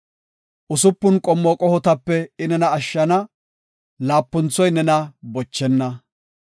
Usupun qommo qohotape I nena ashshana; laapunthoy nena bochenna.